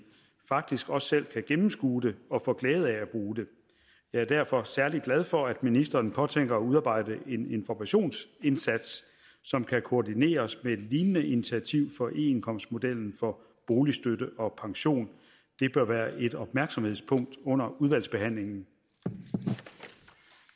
faktisk også selv kan gennemskue det og få glæde af at bruge det jeg er derfor særlig glad for at ministeren påtænker at udarbejde en informationsindsats som kan koordineres med et lignende initiativ for eindkomstmodellen for boligstøtte og pension det bør være et opmærksomhedspunkt under udvalgsbehandlingen